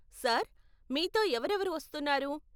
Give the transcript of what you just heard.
Sir, మీతో ఎవరెవరు వస్తున్నారు?